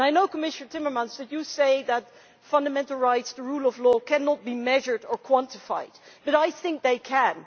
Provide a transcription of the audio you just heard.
I know, Commissioner Timmermans, that you say that fundamental rights, the rule of law cannot be measured or quantified, but I think they can.